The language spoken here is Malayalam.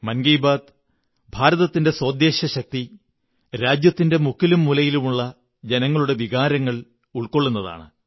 മൻ കീ ബാത്ത് ഭാരതത്തിന്റെ സോദ്ദേശ്യശക്തി രാജ്യത്തിന്റെ മുക്കിലും മൂലയിലുമുള്ള ജനങ്ങളുടെ വികാരങ്ങൾ ഉള്ക്കൊിള്ളുന്നതാണ്